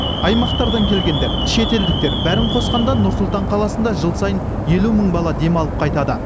аймақтардан келгендер шетелдіктер бәрін қосқанда нұр сұлтан қаласында жыл сайын елу мың бала демалып қайтады